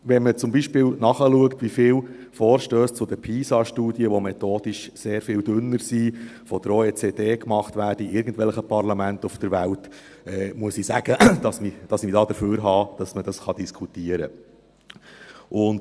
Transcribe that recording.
Wenn man zum Beispiel nachschaut, wie viele Vorstösse zur PISA-Studie, die methodisch sehr viel dünner sind, von der Organisation für wirtschaftliche Zusammenarbeit und Entwicklung (OECD) in irgendwelchen Parlamenten auf der Welt gemacht werden, muss ich sagen, dass ich befürworten kann, dass man das diskutieren kann.